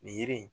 Nin yiri in